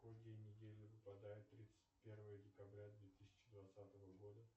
какой день недели выпадает тридцать первое декабря две тысячи двадцатого года